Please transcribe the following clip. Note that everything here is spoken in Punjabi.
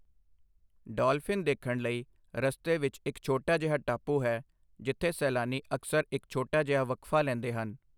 ਡੌਲਫਿਨ ਦੇਖਣ ਲਈ ਰਸਤੇ ਵਿੱਚ ਇੱਕ ਛੋਟਾ ਜਿਹਾ ਟਾਪੂ ਹੈ, ਜਿੱਥੇ ਸੈਲਾਨੀ ਅਕਸਰ ਇੱਕ ਛੋਟਾ ਜਿਹਾ ਵਕਫ਼ਾ ਲੈਂਦੇ ਹਨ।